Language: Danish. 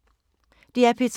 DR P3